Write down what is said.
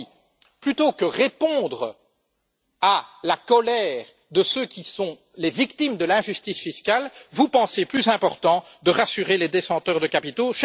Autrement dit, plutôt que de répondre à la colère de ceux qui sont les victimes de l'injustice fiscale, vous pensez plus important de rassurer les détenteurs de capitaux.